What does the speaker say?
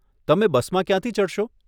તમે બસમાં ક્યાંથી ચડશો?